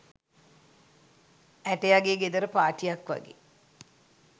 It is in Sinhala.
ඇටයගේ ගෙදර පාටියක් වගේ